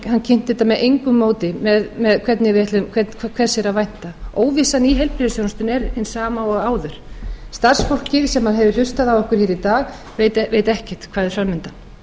hann kynnti þetta með engu móti hvers er að vænta óvissan í heilbrigðisþjónustunni er hin sama og áður starfsfólkið sem hefur hlustað á okkur hér í dag veit ekkert hvað er fram undan